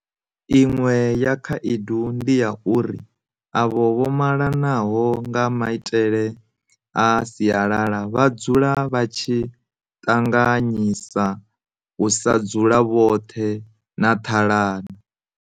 Iṅwe ya khaedu ndi ya uri avho vho malanaho nga maitele a sialala vha dzula vha tshi ṱanganyisa u sa dzula vhoṱhe na ṱhalano.